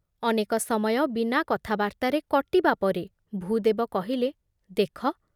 ଅନେକ ସମୟ ବିନା କଥାବାର୍ତ୍ତାରେ କଟିବା ପରେ ଭୂଦେବ କହିଲେ, ଦେଖ